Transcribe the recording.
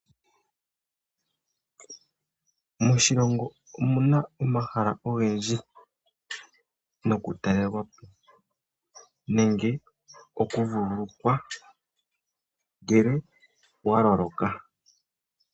Moshilongo omu na omahala ogendji nokutalelwapo nenge okuvululukwa ngele wa loloka.